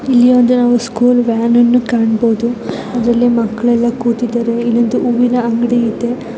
ಇಲ್ಲಿ ಒಂದು ನಾವು ಸ್ಕೂಲ್ ವ್ಯಾನ್ ನ್ನು ಕಾಣಬಹುದು ಅದ್ರಲ್ಲಿ ಮಕ್ಕಳೆಲ್ಲ ಕೂತಿದ್ದಾರೆ ಇಲ್ಲೊಂದು ಹೂವಿನ ಅಂಗಡಿ ಇದೆ.